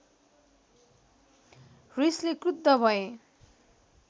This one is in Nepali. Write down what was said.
रिसले क्रुद्ध भए